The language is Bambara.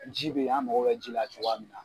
Ji bɛ ye an mago bɛ ji la cogoya min na.